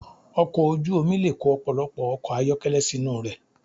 Ọkọ̀ ojú omi le kó ọ̀pọ̀lọpọ̀ ọkọ̀ ayọ́kẹ́lẹ́ sínú rẹ̀.